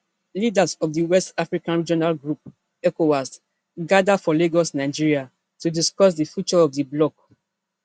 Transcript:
leaders of di west africa regional group ecowas gada for lagos nigeria to discuss di future of di bloc